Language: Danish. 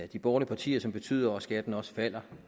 de borgerlige partier som betyder at skatten også falder